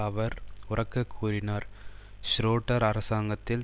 அவர் உரக்க கூறினார் ஷ்ரோடர் அரசாங்கத்தில்